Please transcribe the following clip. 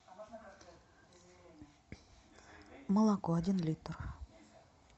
молоко один литр